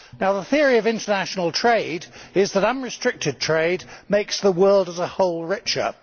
The theory of international trade is that unrestricted trade makes the world as a whole richer.